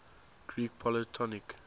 greek polytonic